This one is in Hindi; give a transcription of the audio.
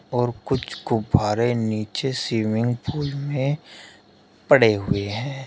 और कुछ गुब्बारे नीचे स्विमिंग पूल में पड़े हुए हैं।